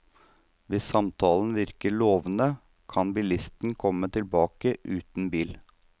Hvis samtalen virker lovende kan bilisten komme tilbake uten bil.